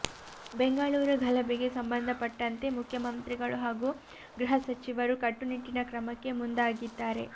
ಬೆಂಗಳೂರು ಗಲಭೆಗೆ ಸಂಬಂಧಪಟ್ಟಂತೆ ಮುಖ್ಯಮಂತ್ರಿಗಳು ಹಾಗೂ ಗೃಹ ಸಚಿವರು ಕಟ್ಟುನಿಟ್ಟಿನ ಕ್ರಮಕ್ಕೆ ಮುಂದಾಗಿದ್ದಾರೆ